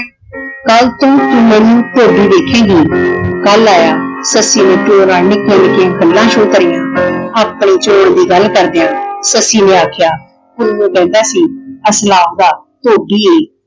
ਕਲ ਤੋਂ ਤੂੰ ਮੈਨੂੰ ਧੋਬੀ ਦੇਖੇਂਗੀ। ਕੱਲ ਆਇਆ ਸੱਸੀ ਨੇ ਪਿਓ ਨਾਲ ਨਿੱਕੀਆਂ ਨਿੱਕੀਆਂ ਗੱਲਾਂ ਸ਼ੁਰੂ ਕਰੀਆਂ। ਆਪਣੇ ਚੋਣ ਦੀ ਗੱਲ ਕਰਦਿਆਂ ਸੱਸੀ ਨੇ ਆਖਿਆ ਪੁੰਨੂੰ ਕਹਿੰਦਾ ਸੀ ਅਸੀਂ ਆਪ ਤਾਂ ਧੋਬੀ ਏ।